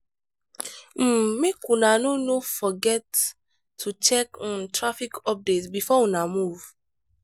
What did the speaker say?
um make una no no forget to check um traffic update before una move.